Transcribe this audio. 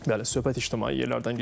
Bəli, söhbət ictimai yerlərdən gedir.